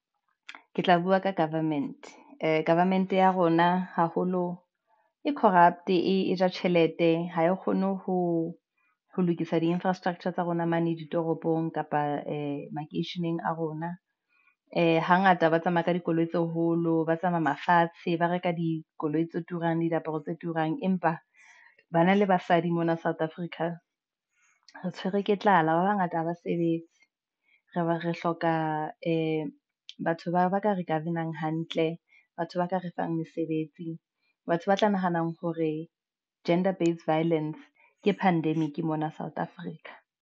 Ke tla bua ka government, ee, government ya rona haholo e corrupt-e ja tjhelete ha e kgone ho lokisa di-infrastructure tsa rona mane di toropong kapa makeisheneng a rona. Ee, hangata ba tsamaya ka dikoloi tse holo, ba tsamaya mafatshe, ba reka dikoloi tse turang diaparo tse turang, empa banna le basadi mona South Africa re tshwerwe ke tlala, ba bangata ha ba sebetse re be re hloka batho bao ba ka re ka govern-ang hantle batho ba ka re fang mesebetsi batho ba tla nahanang hore gender base violence ke pandemic, mona South Africa.